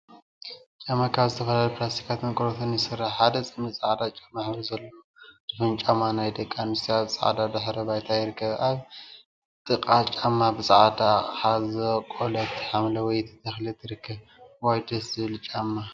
ጫማ ካብ ዝተፈላለዩ ፕላስቲካትን ቆርበትን ይስራሕ፡፡ ሓደ ፅምዲ ፃዕዳ ሕብሪ ዘለዎም ድፉን ጨማ ናይ ደቂ አንስትዮ አብ ፃዕዳ ድሕረ ባይታ ይርከቡ፡፡ አብ ጥቃ ጫማ ብፃዕዳ አቅሓ ዝበቆለት ሓምለወይቲ ተክሊ ትርከብ፡፡ እዋይ ደስ ዝብል ጫማ!